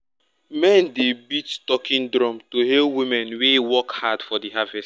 men dey beat talking drum to hail women wey work hard for harvest.